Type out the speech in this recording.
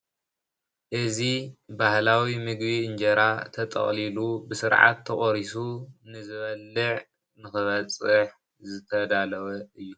እዚ ባህላዊ ምግቢ እንጀራ ተጠቅሊሉ ብስርዓት ተቆሪሱ ንዝበልዕ ንክበፅሕ ዝተዳለወ እዩ፡፡